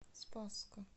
спасска